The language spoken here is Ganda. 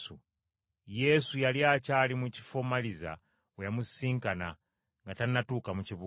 Yesu yali akyali mu kifo Maliza we yamusisinkana nga tannatuuka mu kibuga.